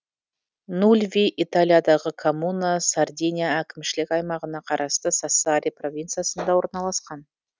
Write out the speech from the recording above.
нульви италиядағы коммуна сардиния әкімшілік аймағына қарасты сассари провинциясында орналасқан